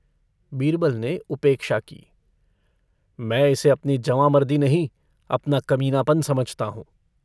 बीरबल ने उपेक्षा की। मैं इसे अपनी जवाँमर्दी नहीं, अपना कमीनापन समझता हूँ।